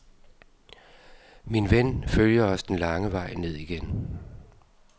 Min ven følger os den lange vej ned igen.